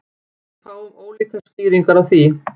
Við fáum ólíkar skýringar á því